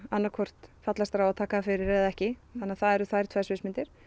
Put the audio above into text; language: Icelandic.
annað hvort fallast þeir á að taka það fyrir eða ekki þannig að það eru þær tvær sviðsmyndir